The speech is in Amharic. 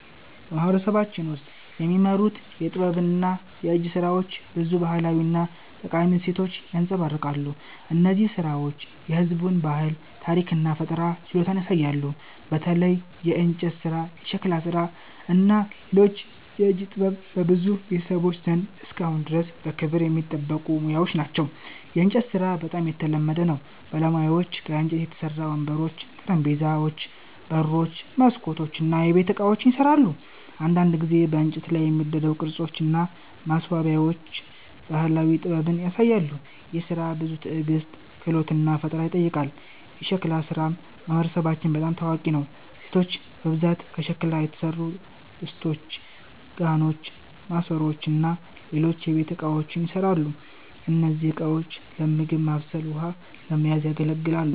በማህበረሰባችን ውስጥ የሚመረቱ የጥበብና የእጅ ሥራዎች ብዙ ባህላዊ እና ጠቃሚ እሴቶችን ያንጸባርቃሉ። እነዚህ ሥራዎች የህዝቡን ባህል፣ ታሪክ እና ፈጠራ ችሎታ ያሳያሉ። በተለይ የእንጨት ሥራ፣ የሸክላ ሥራ እና ሌሎች የእጅ ጥበቦች በብዙ ቤተሰቦች ዘንድ እስካሁን ድረስ በክብር የሚጠበቁ ሙያዎች ናቸው። የእንጨት ሥራ በጣም የተለመደ ነው። ባለሙያዎች ከእንጨት የተሠሩ ወንበሮች፣ ጠረጴዛዎች፣ በሮች፣ መስኮቶች እና የቤት ዕቃዎችን ይሠራሉ። አንዳንድ ጊዜ በእንጨት ላይ የሚደረጉ ቅርጾች እና ማስዋቢያዎች ባህላዊ ጥበብን ያሳያሉ። ይህ ሥራ ብዙ ትዕግስት፣ ክህሎት እና ፈጠራ ይጠይቃል። የሸክላ ሥራም በማህበረሰባችን በጣም ታዋቂ ነው። ሴቶች በብዛት ከሸክላ የተሠሩ ድስቶች፣ ጋኖች፣ ማሰሮዎች እና ሌሎች የቤት እቃዎችን ይሠራሉ። እነዚህ ዕቃዎች ለምግብ ማብሰል ውሃ ለመያዝ ያገለግላል